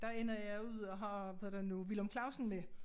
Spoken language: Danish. Der ender jeg ud og har hvad hedder det nu Villum Clausen med